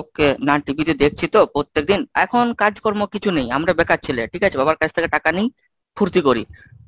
okay না TV তে দেখছি তো প্রত্যেকদিন এখন কাজকর্ম কিছু নেই, আমরা বেকার ছেলে ঠিক আছে? বাবার কাছ থেকে টাকা নিই ফুর্তি করি।